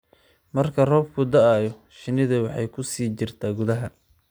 Marka roobku da'o, shinnidu waxay ku sii jirtaa gudaha.